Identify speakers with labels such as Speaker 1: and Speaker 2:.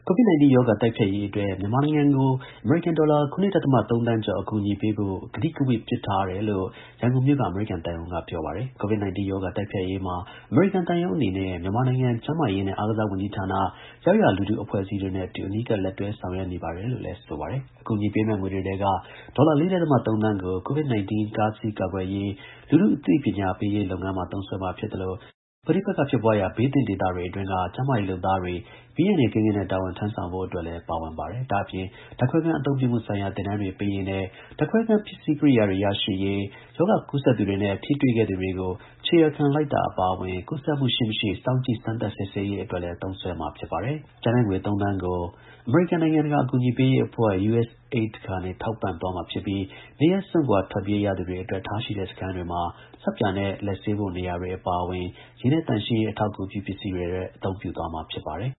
Speaker 1: COVID-19 ရောဂါ တိုက်ဖျက်ရေးအတွက် မြန်မာနိုင်ငံကို အမေရိကန် ဒေါ်လာ ၇.၃ သန်းကျော် အကူအညီပေးဖို့ ကတိကဝတ်ပြုထား တယ်လို့ ရန်ကုန်မြို့က အမေရိကန်သံရုံးက မနေ့က ထုတ်ပြန်ကြေညာခဲ့ပါတယ်။ COVID-19 ရောဂါ တိုက်ဖျက်ရေးမှာ အမေရိကန် သံရုံးအနေနဲ့ မြန်မာနိုင်ငံ ကျန်းမာရေးနှင့်အားကစားဝန်ကြီးဌာန၊ ရပ်ရွာလူထု အဖွဲ့အစည်းတွေနဲ့အတူ အနီးကပ်လက်တွဲ ဆောင်ရွက်နေပါတယ်လို့လည်း ပြောပါတယ်။ အကူအညီပေးမယ့် ငွေတွေထဲက ဒေါ်လာ ၄.၃ သန်းကို COVID-19 တားဆီးကာကွယ်ရေး လူထု အသိပညာပေးရေးလုပ်ငန်းမှာ သုံးစွဲမှာ ဖြစ်သလို ပဋိပက္ခ ဘေးသင့် ဒေသတွေအတွင်းက ကျန်းမာရေး လုပ်သားတွေ ဘေးအန္တရယ် ကင်းကင်းနဲ့ တာဝန်ထမ်းဆောင်နိုင်ဖို့ အတွက်လည်း ပါဝင်ပါတယ်။ ဒါ့အပြင် ဓါတ်ခွဲခန်း အသုံးပြုမှုဆိုင်ရာ သင်တန်းတွေပေးရေးနဲ့ ဓါတ်ခွဲခန်း ပစ္စည်း ကိရိယာတွေ ရရှိရေး၊ ရောဂါ ကူးစက်သူတွေနဲ့ ထိတွေ့ခဲ့သူတွေကို ခြေရာခံ လိုက်တာ အပါအဝင် ကူးစက်မှု ရှိ-မရှိ စောင့်ကြည့် စမ်းသပ် စစ်ဆေးရေး အတွက် လည်း သုံးစွဲမှာ ဖြစ်ပါတယ်။ ကျန်တဲ့ငွေ ၃ သန်းကို အမေရိကန် နိုင်ငံတကာ အကူအညီပေးရေးအဖွဲ့ (USAID) ကနေ ထောက်ပံ့သွားမှာ ဖြစ်ပြီး နေရပ် စွန့်ခွာထွက်ပြေး ရသူတွေ အတွက် ထားရှိတဲ့ စခန်းတွေမှာဆပ်ပြာနဲ့လက်ဆေးဖို့နေရာတွေအပါအဝင် ရေနဲ့သန့်ရှင်းရေး အထောက် အကူ ပြုပစ္စည်းတွေ အတွက် အသုံးပြုသွားမှာဖြစ်ပါတယ်